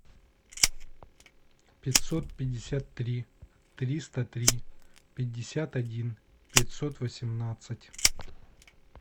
пятьсот пятьдесят три триста три пятьдесят один пятьсот восемнадцать